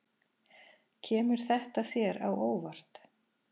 Kemur þetta þér á óvart?